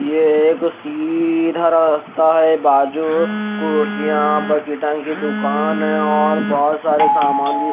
यह एक सीधा रास्ता है बाजू कुर्सियां बकेटाय दुकान है और बहोत सारे सामान भी--